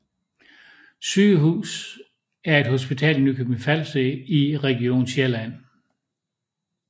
Sygehus er et hospital i Nykøbing Falster i Region Sjælland